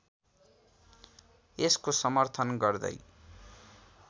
यसको समर्थन गर्दै